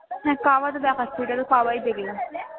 হ্যা কাবা তো দেখাচ্ছে ঐখানে কাবা ই দেখলাম দেখলাম